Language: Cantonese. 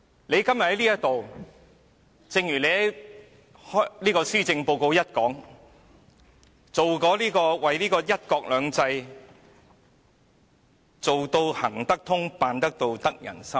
你今天在這裏，正如你在施政報告開首表示，為"一國兩制"做到"行得通、辦得到、得人心"。